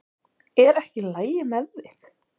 Er ekki í lagi með þig?